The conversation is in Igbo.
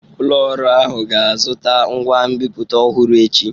Ụlọ ọrụ ahụ ga-azụta ngwa nbipute ọhụrụ echi.